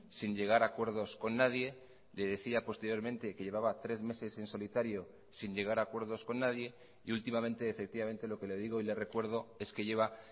sin llegar a acuerdos con nadie le decía posteriormente que llevaba tres meses en solitario sin llegar a acuerdos con nadie y últimamente efectivamente lo que le digo y le recuerdo es que lleva